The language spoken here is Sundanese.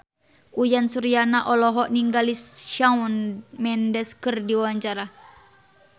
Uyan Suryana olohok ningali Shawn Mendes keur diwawancara